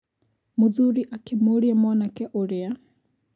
Mũthuri akĩmũria mwanake ũrĩa